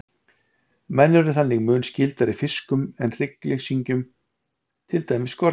Menn eru þannig mun skyldari fiskum en hryggleysingjum, til dæmis skordýrum.